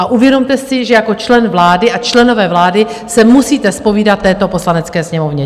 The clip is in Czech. A uvědomte si, že jako člen vlády a členové vlády se musíte zpovídat této Poslanecké sněmovně!